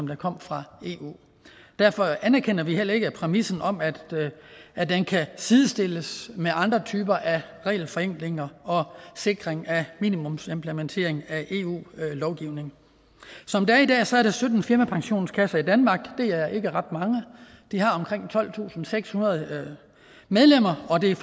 der kom fra eu derfor anerkender vi heller ikke præmissen om at at den kan sidestilles med andre typer af regelforenklinger og sikring af minimumsimplementering af eu lovgivning som det er i dag er der sytten firmapensionskasser i danmark og det er ikke ret mange de har omkring tolvtusinde og sekshundrede medlemmer og det er